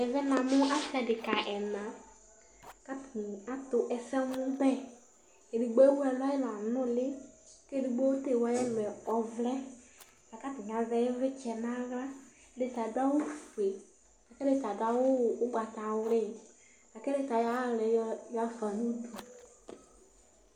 Ɛvɛ namu asɩ adekǝ ɛna, kʋ atani atʋ ɛsɛmʋbɛ Edigbo ewʋ ɛlʋ, ɛlʋ anuli, kʋ edigbo ta ewʋ ayɛlʋɛ ɔvɛ Akʋ atani azɛ ivlitsɛ naɣla Ɛdita adʋ awʋfue, kʋ ɛdɩta adʋ awʋ ugatawki Kʋ ɛdita ayɔ ayʋ aɣla yɛ ɣafa nʋ udu